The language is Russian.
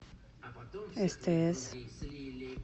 стс